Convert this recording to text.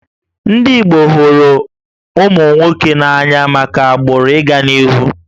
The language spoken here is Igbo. Ndị Igbo hụrụ ụmụ nwoke n'anya maka agbụrụ ị ga n'ihu